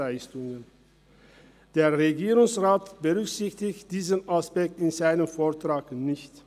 Der Regierungsrat berücksichtigt diesen Aspekt in seinem Vortrag nicht.